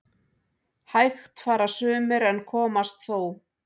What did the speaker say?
Hægt fara sumir en komast þó